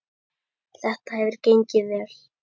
Þetta hefur gengið vel.